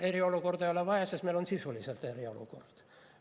Aga meil eriolukorda ei ole vaja, sest meil on sisuliselt eriolukord.